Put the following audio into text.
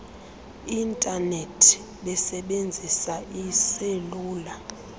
intanethi besebenzisa iiselula